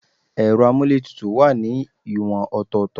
Ero amuletutu wá ní ìwọ̀n ọ̀tọ̀ọ̀tọ̀